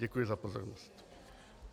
Děkuji za pozornost.